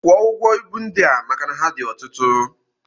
Kwụọ ụgwọ ibu ndị a maka na ha dị ọtụtụ!